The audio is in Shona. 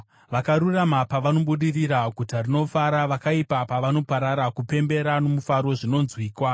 Vakarurama pavanobudirira, guta rinofara; vakaipa pavanoparara, kupembera nomufaro zvinonzwikwa.